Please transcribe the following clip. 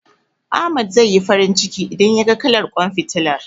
Ahmad zai yi farin ciki, idan yaga kalar ƙwan fitilar.